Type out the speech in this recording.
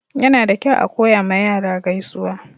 Yana da kyau a koya ma yara gaisuwa.